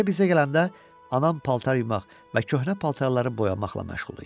B bizə gələndə anam paltar yumaq və köhnə paltarları boyamaqla məşğul idi.